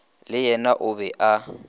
le yena o be a